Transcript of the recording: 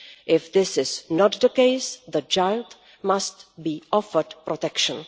If this is not the case, the child must be offered protection.